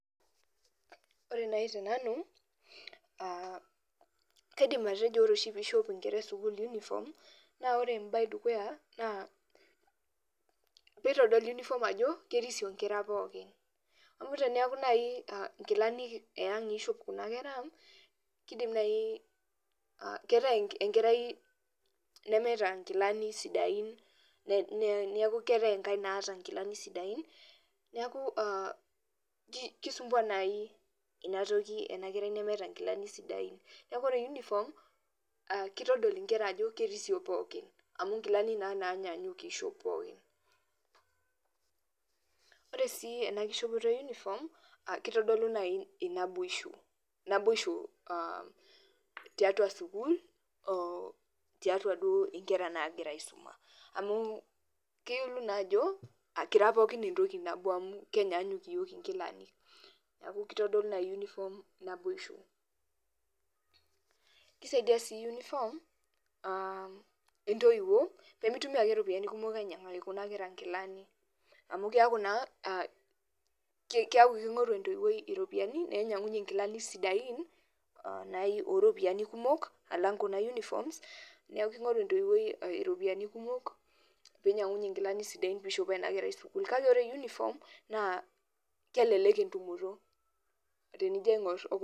Ore nai te nanu, kaidim atejo ore oshi peishop inkera esukul unifom, naa ore embaye edukuya naa peitodolu unifom ajo kerisio inkera pookin, amu teneaku nai inkilani eang eishop kuna kera, keidim nai keitai enkerai nemeata inkilani sidain, neaku keatae enkae naata inkilani sidain, neaku keisumbuan nai inatoki ena kerai nemeeta inkilani sidain. Naaku Ore unifom keitodol inkera ajo kerisio pookin, amu inkilani naa naanyanyuk eishop pookin. Ore sii ena nkishopoto e unifom keitodolu nai enaboisho, naboisho tiatua sukuul, o tiatua duo inkera naagira aisuma amu keitodolu naa ajo ekira pooki ntoki nabo amu kenyanyuk yook inkilani. Neaku keitodolu naa unifom naboisho. Keisaidia sii unifom entoiwo pemeitumiya ake iropiyiani kumok ainyangaki kuna kera inkilani amu keaku naa keaku keing'oru entoiwoi iropiyiani nainyangunye inkilani sidain o iropiyiani kumok alang kuna unifom, neaku keing'oru entoiwoi iropiyiani kumok peinyang'unye inkilani sidain peishopoo ena kerai sukuul kake ore unifom naa kelelek entumoto tenijo aing'or.